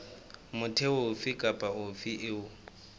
motho ofe kapa ofe eo